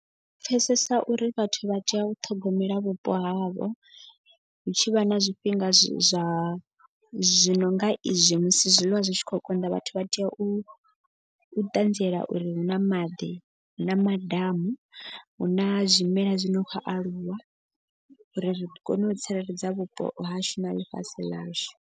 U pfesesa uri vhathu vha tea u ṱhogomela vhupo havho hu tshi vha na zwifhinga zwa zwi nonga izwi musi zwiḽiwa zwi tshi khou konḓa. Vhathu vha tea u ṱanziela uri hu na maḓi na madamu hu na zwimela zwine khou aluwa uri ri kone u tsireledza vhupo hashu na ḽifhasi ḽashu.